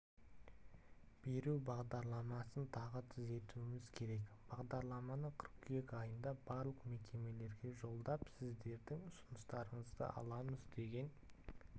беру бағдарламасын тағы түзетуіміз керек бағдарламаны қыркүйек айында барлық мекемелерге жолдап сіздердің ұсыныстарыңызды аламыз деген